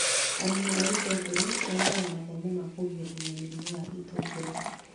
Arĩmi a itũngũrũ magĩaga mathomo ma kũgirĩria mĩrimũ ya itũngurũ